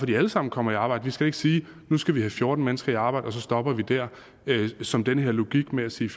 de alle sammen kommer i arbejde vi skal da ikke sige at nu skal vi have fjorten mennesker i arbejde og så stopper vi dér som den her logik med at sige